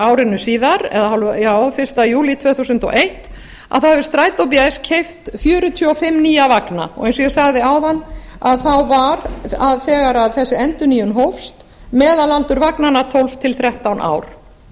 árinu síðar fyrsta júlí tvö þúsund og eitt þá hefur strætó bs keypt fjörutíu og fimm nýja vagna og eins og ég sagði áðan þá var þegar þessi endurnýjun hófst meðalaldur vagnanna tólf til þrettán